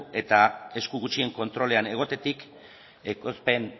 eta esku gutxien kontrolean egotetik ekoizpen